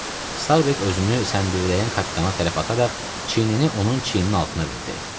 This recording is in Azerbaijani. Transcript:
Starbek özünü səndirləyən kapitana tərəf ataraq çiynini onun çiyninin altına verdi.